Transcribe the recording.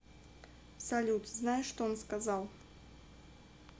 салют знаешь что он сказал